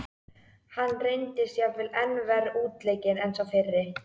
Hann reyndist jafnvel enn verr útleikinn en sá fyrri.